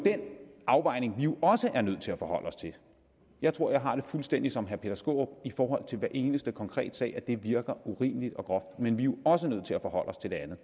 afvejning vi jo jeg tror jeg har det fuldstændig som herre peter skaarup i forhold til hver eneste konkrete sag nemlig at det virker urimeligt og groft men vi er jo også nødt til at forholde os til det andet